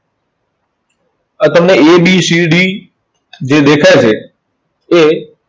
આ તમને ABCD જે દેખાઈ છે, એ